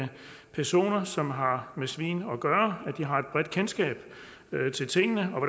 personer som har med svin at gøre har et bredt kendskab til tingene og